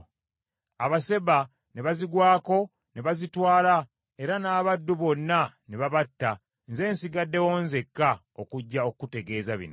Abaseba ne bazigwako ne bazitwala era n’abaddu bonna ne babatta nze nsigaddewo nzekka okujja okukutegeeza bino.”